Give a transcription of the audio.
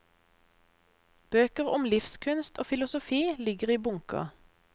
Bøker om livskunst og filosofi ligger i bunker.